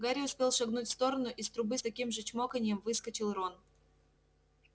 гарри успел шагнуть в сторону из трубы с таким же чмоканьем выскочил рон